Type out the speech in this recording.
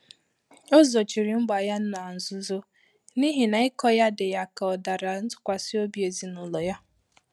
Ọ́ zòchírí mgbà yá nà nzùzò n’íhí nà ị́kọ yá dị́ yá kà ọ dàrà ntụ́kwàsị́ óbí èzínụ́lọ yá.